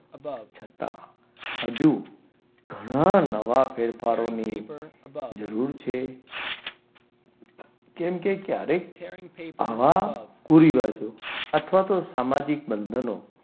છતાં હજુ ઘણા નવા ફેરફારોને જરૂર છે. કેમ કે ક્યારેક આવા કુરિવાજો અથવા તો સામાજિક બંધનો,